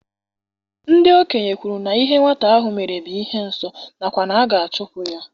Ndị okenye kwuru na ihe nwata ahụ mere bụ ihe nsọ nakwa na a ga-achụpụ ya.